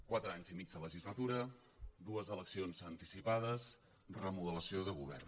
quatre anys i mig de legislatura dues eleccions anticipades remodelació de govern